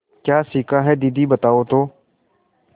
क्या सीखा है दीदी बताओ तो